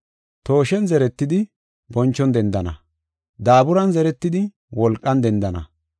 Tooshen zeretidi, bonchon dendana; daaburan zeretidi, wolqan dendana.